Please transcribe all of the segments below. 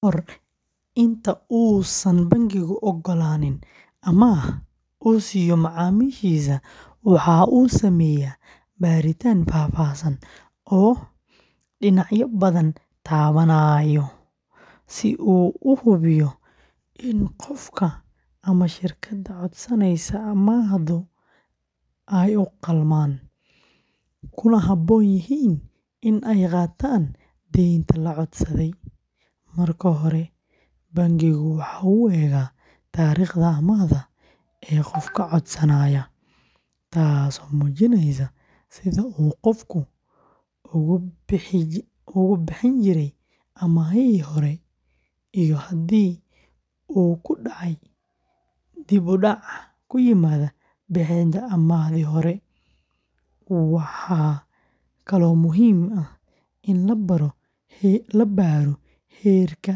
Ka hor inta uusan bangigu oggolaanin amaah uu siiyo macaamiishiisa, waxa uu sameeyaa baaritaan faahfaahsan oo dhinacyo badan taabanaya si uu u hubiyo in qofka ama shirkadda codsanaysa amaahdu ay u qalmaan, kuna habboon yihiin in ay qaataan deynta la codsaday. Marka hore, bangigu waxa uu eegaa taariikhda amaahda ee qofka codsanaya, taasoo muujinaysa sida uu qofku uga bixi jiray amaahihii hore iyo haddii uu ku dhacay dib-u-dhac ku yimaada bixinta amaahdii hore. Waxaa kaloo muhiim ah in la baaro heerka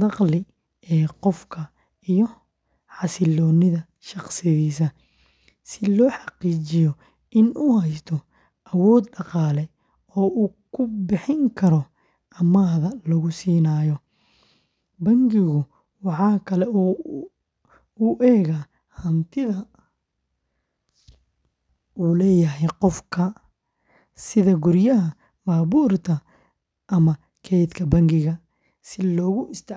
dakhli ee qofka iyo xasilloonida shaqadiisa, si loo xaqiijiyo in uu haysto awood dhaqaale oo uu ku bixin karo amaahda lagu siinayo. Bangigu waxa kale oo uu eegaa hantida uu leeyahay qofka, sida guryaha, baabuurta ama kaydka bangiga, si loogu isticmaalo.